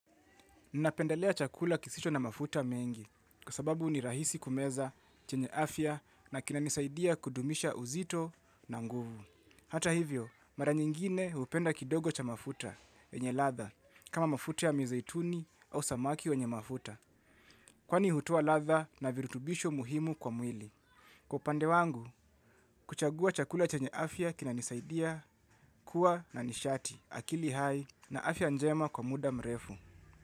Ninapendelea chakula kisicho na mafuta mengi, kwa sababu ni rahisi kumeza chenye afya na kinanisaidia kudumisha uzito na nguvu. Hata hivyo, mara nyingine hupenda kidogo cha mafuta, yenye ladha, kama mafuta ya mizaituni au samaki wenye mafuta, kwani hutoa ladha na virutubisho muhimu kwa mwili. Kwa upande wangu, kuchagua chakula chenye afya kinanisaidia, kuwa na nishati, akili hai na afya njema kwa muda mrefu.